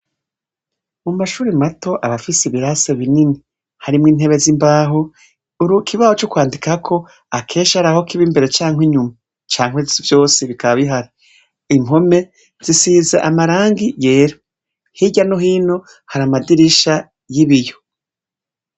Amashure mato arafise ibirasi binini, harimwo intebe zimbaho kukibaho cokwandikako akenshi haraho kiba imbere canke inyuma canke byose bikaba bihari. Impome zisize amarangi yera hirya no hino hari amadirisha n'ibiyo.